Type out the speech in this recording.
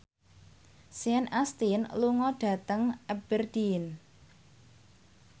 Sean Astin lunga dhateng Aberdeen